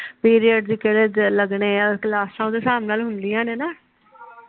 period ਕਿਹੜੇ ਦਿਨ ਲਗਣੇ ਆ ਕਲਾਸਾਂ ਦੇ ਸਾਬ ਨਾਲ ਹੁੰਦੀਆਂ ਨੇ ਨਾ